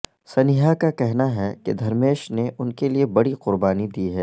سنیہا کا کہنا ہے کہ دھرمیش نے ان کے لیے بڑی قربانی دی ہے